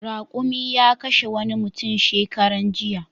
Raƙumi ya kashe wani mutum shekaran jiya.